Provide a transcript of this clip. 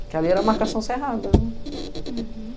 Porque ali era a marcação cerrada. Hurum.